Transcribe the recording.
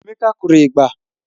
Emeka kụrụ ịgba